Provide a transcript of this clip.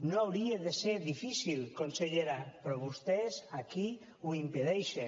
no hauria de ser difícil consellera però vostès aquí ho impedeixen